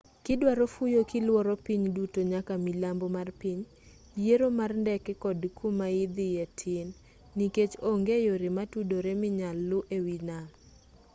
kidwaro fuyo kiluoro piny duto nyaka milambo mar piny yiero mar ndeke kod kumaidhiye tin nikech onge yore matudore minyal lu ewii nam